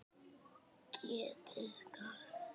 Getið hvað?